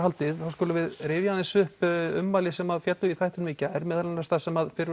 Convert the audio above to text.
skulum við rifja upp ummæli sem féllu í þættinum í gær meðal annars þar sem